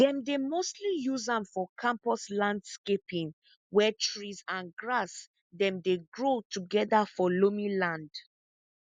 dem dey mostly use am for campus landscaping where trees and grass dem dey grow together for loamy land